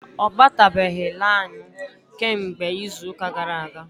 Ọ batabeghi lainụ kemgbe izuuka gara aga.